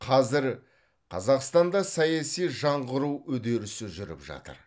қазір қазақстанда саяси жаңғыру үдерісі жүріп жатыр